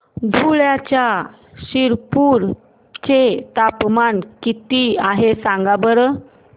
धुळ्याच्या शिरपूर चे तापमान किता आहे सांगा बरं